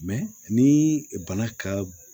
ni bana ka